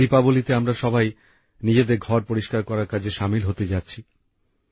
এখন দীপাবলিতে আমরা সবাই নিজেদের ঘর পরিষ্কার করার কাজে শামিল হতে যাচ্ছি